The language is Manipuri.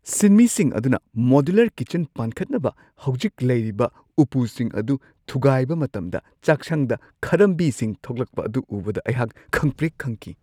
ꯁꯤꯟꯃꯤꯁꯤꯡ ꯑꯗꯨꯅ ꯃꯣꯗ꯭ꯌꯨꯂꯔ ꯀꯤꯠꯆꯟ ꯄꯥꯟꯈꯠꯅꯕ ꯍꯧꯖꯤꯛ ꯂꯩꯔꯤꯕ ꯎꯄꯨꯁꯤꯡ ꯑꯗꯨ ꯊꯨꯒꯥꯏꯕ ꯃꯇꯝꯗ ꯆꯥꯛꯁꯪꯗ ꯈꯔꯝꯕꯤꯁꯤꯡ ꯊꯣꯛꯂꯛꯄ ꯑꯗꯨ ꯎꯕꯗ ꯑꯩꯍꯥꯛ ꯈꯪꯄ꯭ꯔꯦꯛ -ꯈꯪꯈꯤ ꯫